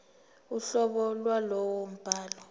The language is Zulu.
uhlobo lwalowo mbhalo